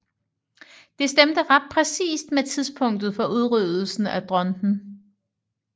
Det stemte ret præcist med tidspunktet for udryddelsen af dronten